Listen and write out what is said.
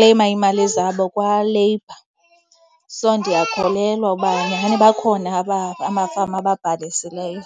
iimali zabo kwaLabour. So ndiyakholelwa uba nyani bakhona amafama ababhalisileyo.